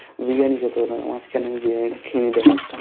বিরিয়ানি খেতে হতোনা মাঝখানেই বিরিয়ানি টা খেয়ে নিতে পারতাম